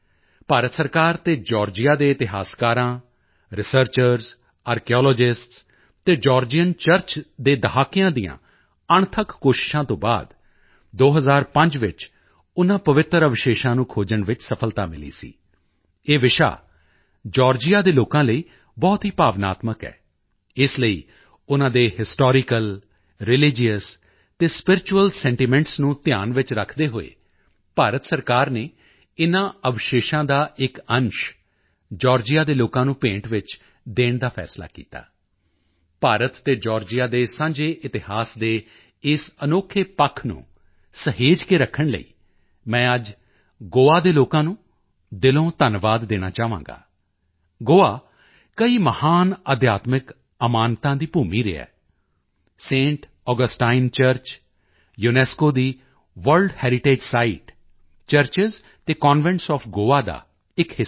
ਭਾਰਤ ਸਰਕਾਰ ਅਤੇ ਜਾਰਜੀਆ ਦੇ ਇਤਿਹਾਸਕਾਰਾਂ ਰਿਸਰਚਰਜ਼ ਆਰਕੀਓਲੋਜਿਸਟਸ ਅਤੇ ਜਾਰਜੀਅਨ ਚਰਚ ਦੇ ਦਹਾਕਿਆਂ ਦੀਆਂ ਅਣਥੱਕ ਕੋਸ਼ਿਸ਼ਾਂ ਤੋਂ ਬਾਅਦ 2005 ਵਿੱਚ ਉਨ੍ਹਾਂ ਪਵਿੱਤਰ ਅਵਸ਼ੇਸ਼ਾਂ ਨੂੰ ਖੋਜਣ ਵਿੱਚ ਸਫਲਤਾ ਮਿਲੀ ਸੀ ਇਹ ਵਿਸ਼ਾ ਜਾਰਜੀਆਂ ਦੇ ਲੋਕਾਂ ਲਈ ਬਹੁਤ ਹੀ ਭਾਵਨਾਤਮਕ ਹੈ ਇਸ ਲਈ ਉਨ੍ਹਾਂ ਦੇ ਹਿਸਟੋਰੀਕਲ ਰਿਲੀਜੀਅਸ ਅਤੇ ਸਪਿਰੀਚੁਅਲ ਸੈਂਟੀਮੈਂਟਸ ਨੂੰ ਧਿਆਨ ਵਿੱਚ ਰੱਖਦੇ ਹੋਏ ਭਾਰਤ ਸਰਕਾਰ ਨੇ ਇਨ੍ਹਾਂ ਅਵਸ਼ੇਸ਼ਾਂ ਦਾ ਇੱਕ ਅੰਸ਼ ਜਾਰਜੀਆ ਦੇ ਲੋਕਾਂ ਨੂੰ ਭੇਂਟ ਵਿੱਚ ਦੇਣ ਦਾ ਫੈਸਲਾ ਕੀਤਾ ਭਾਰਤ ਤੇ ਜਾਰਜੀਆ ਦੇ ਸਾਂਝੇ ਇਤਿਹਾਸ ਦੇ ਇਸ ਅਨੋਖੇ ਪੱਖ ਨੂੰ ਸਹੇਜ ਕੇ ਰੱਖਣ ਦੇ ਲਈ ਮੈਂ ਅੱਜ ਗੋਆ ਦੇ ਲੋਕਾਂ ਨੂੰ ਦਿਲੋਂ ਧੰਨਵਾਦ ਦੇਣਾ ਚਾਹਾਂਗਾ ਗੋਆ ਕਈ ਮਹਾਨ ਅਧਿਆਤਮਿਕ ਅਮਾਨਤਾਂ ਦੀ ਭੂਮੀ ਰਿਹਾ ਹੈ ਸੈਂਟ ਆਗਸਟਾਈਨ ਚਰਚ ਯੂਨੇਸਕੋ ਦੀ ਵਰਲਡ ਹੈਰੀਟੇਜ ਸੀਤੇ ਚਰਚਜ਼ ਅਤੇ ਕਨਵੈਂਟਸ ਓਐਫ ਗੋਆ ਦਾ ਇੱਕ ਹਿੱਸਾ ਹੈ